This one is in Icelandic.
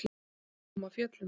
Ég kom af fjöllum.